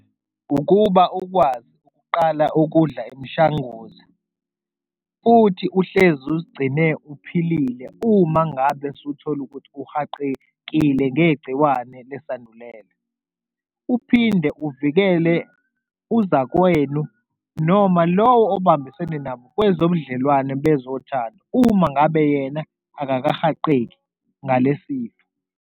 Ukuba ukwazi ukuqala ukudla imishanguza futhi uhlezi uzigcine uphilile uma ngabe usuthole ukuthi uhaqekile ngegciwane lesandulela, uphinde uvikele uzakwenu noma lowo obambisene nabo kwezobudlelwane bezothanda, uma ngabe yena akakahaqeki ngalesifo.